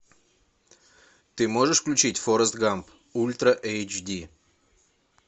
ты можешь включить форест гамп ультра эйч ди